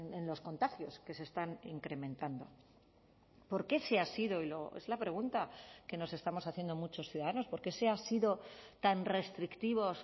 en los contagios que se están incrementando por qué se ha sido es la pregunta que nos estamos haciendo muchos ciudadanos por qué se ha sido tan restrictivos